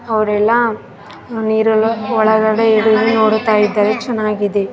ಅವರೆಲ್ಲ ನೀರಲ್ಲಿ ಒಳಗಡೆ ಏನೋ ನೋಡುತ್ತ ಇದ್ದಾರೆ ಚೆನ್ನಾಗಿದೆ .